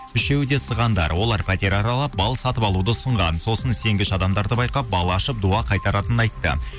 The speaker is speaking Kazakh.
үшеуі де сығандар олар пәтер аралап бал сатып алуды ұсынған сосын сенгіш адамдарды байқап бал ашып дұға қайтаратынын айтты